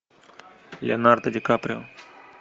леонардо ди каприо